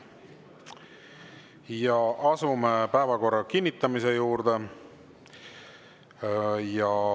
Ja asume päevakorra kinnitamise juurde.